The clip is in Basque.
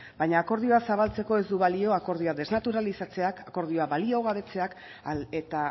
baina akordioa zabaltzeko ez du balio akordioa desnaturalizatzeak akordioa baliogabetzeak eta